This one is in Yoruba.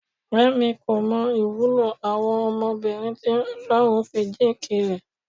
Fẹ́mi kò mọ ìwúlò àwọn ọmọbìnrin tí Ọlọ́run fi jíǹkì rẹ̀.